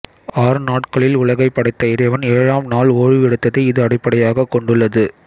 ஆறு நாட்களில் உலகைப் படைத்த இறைவன் ஏழாம் நாள் ஓய்வு எடுத்ததை இது அடிப்படையாய்க் கொண்டுள்ளது